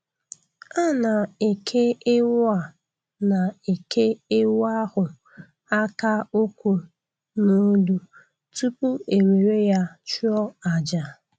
A na-eke ewu A na-eke ewu ahụ aka nkwụ n'olu tupu e were ya chụọ aja